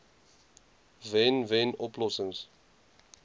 wen wen oplossings